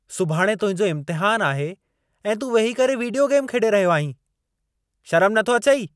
सुभाणे तुंहिंजो इम्तिहानु आहे ऐं तूं वेही करे विडीयो गेम खेॾे रहियो आहीं। शरमु नथो अचई?